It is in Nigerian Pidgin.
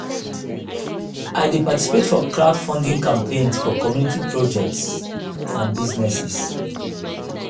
i dey participate for crowdfunding campaigns for community projects and businesses.